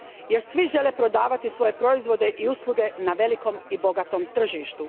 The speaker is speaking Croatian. jer svi žele prodavati svoje proizvode i usluge na velikom i bogatom tržištu.